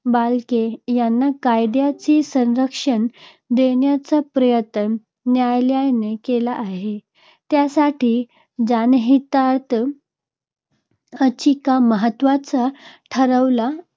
बालके यांना कायदयाचे संरक्षण देण्याचा प्रयत्न न्यायालयाने केला आहे. त्यासाठी जनहितार्थ याचिका महत्त्वाच्या ठरल्या